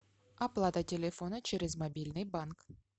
оплата телефона через мобильный банк